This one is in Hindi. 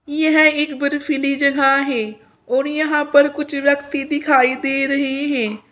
यह एक बर्फीली जगह है और यहां पर कुछ व्यक्ति दिखाई दे रहे हैं।